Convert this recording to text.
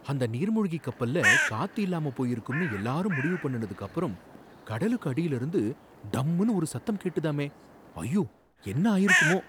அந்த நீர்மூழ்கிக் கப்பல்ல காத்து இல்லாம போயிருக்கும்னு எல்லாரும் முடிவு பண்ணுனதுக்கு அப்பறம் கடலுக்கு அடியில இருந்து டம்முன்னு ஒரு சத்தம் கேட்டதாமே, ஐயோ என்ன ஆயிருக்குமோ